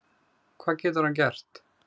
Hvað getur hann gert?